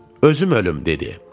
Özüm ölüm dedi.